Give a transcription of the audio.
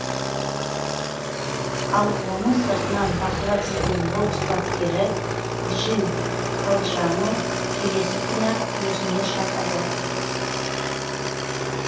ал оны сыртынан бақылап жүрген бокс бапкері джин калджано келесі күні ақ өзіне шақырды